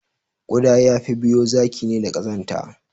Kuda yafi biyo zaki ne da Ƙazanta